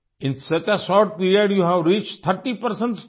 in such a short period you have reached 30 persons team